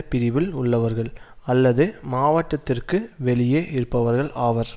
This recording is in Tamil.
பிரிவில் உள்ளவர்கள் அல்லது மாவட்டத்திற்கு வெளியே இருப்பவர்கள் ஆவர்